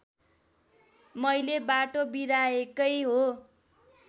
मैले बाटो बिराएकै हो